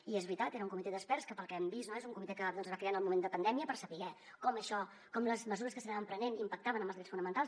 i és veritat era un comitè d’experts que pel que hem vist es va crear en el moment de la pandèmia per saber com les mesures que s’anaven prenent impactaven en els drets fonamentals